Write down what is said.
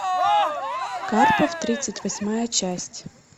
карпов тридцать восьмая часть